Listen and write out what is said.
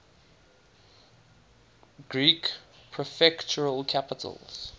greek prefectural capitals